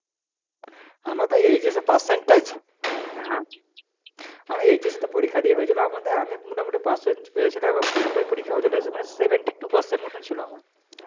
হম আমি HS এ তো পরীক্ষা দিয়ে হয়েছিল আমাদের আমি মোটামোটি percentage পেয়েছিলাম এবং পুরোটাই পরীক্ষা হয়েছিল মানে seventy two percent মতো ছিল আমার,